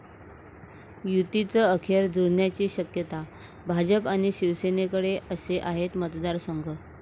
युतीचं अखेर जुळण्याची शक्यता, भाजप आणि शिवसेनेकडे असे आहेत मतदारसंघ!